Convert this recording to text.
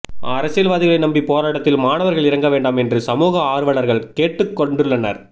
அரசியல்வாதிகளை நம்பி போராட்டத்தில் மாணவர்கள் இறங்க வேண்டாம் என்று சமூக ஆர்வலர்கள் கேட்டுக் கொண்டுள்ளனர்